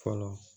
Fɔlɔ